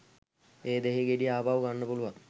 ඒ දෙහි ගෙඩි ආපහු ගන්න පුළුවන්.